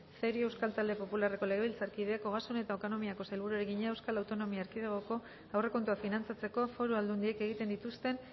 cerio euskal talde popularreko legebiltzarkideak ogasun eta ekonomiako sailburuari egina euskal autonomia erkidegoko aurrekontuak finantzatzeko foru aldundiek egiten dituzten